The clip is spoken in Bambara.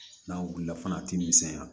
N'a wulila fana a ti misɛnya